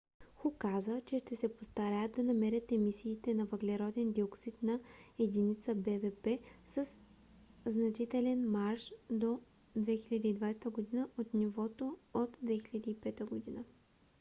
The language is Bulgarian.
"ху каза че ще се постараят да намалят емисиите на въглероден диоксид на единица бвп със значителен марж до 2020 г. от нивото от 2005 г